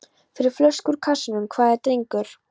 Fyrir flösku úr kassanum, hvað drengur?